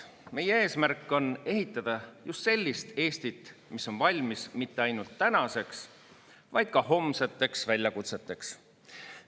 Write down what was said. Meie eesmärk on ehitada just sellist Eestit, mis on valmis mitte ainult tänaseks, vaid ka homseteks väljakutseteks.